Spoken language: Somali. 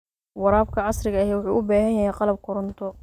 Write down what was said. Waraabka casriga ahi wuxuu u baahan yahay qalab koronto.